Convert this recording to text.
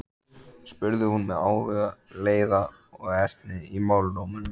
spurði hún með áhuga, leiða og ertni í málrómnum.